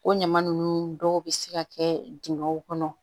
O ɲama nunnu dɔw bɛ se ka kɛ dingɛw kɔnɔ